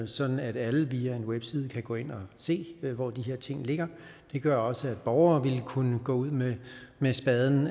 sådan at alle via en webside kan gå ind og se hvor de her ting ligger det gør også at borgere ville kunne gå ud med spaden